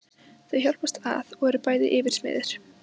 Þau hjálpast að og eru bæði yfirsmiðir.